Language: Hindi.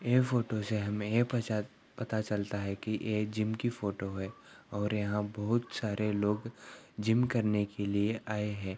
ये फोटो से हमें ये पसाच पता चलता है की ये जिम की फोटो है और यहाँ बहुत सरे लो जिम करने के लिए आये है|